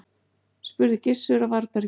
spurði Gizur á varðbergi.